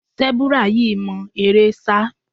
Sẹ́búrà yìí mọ eré sá.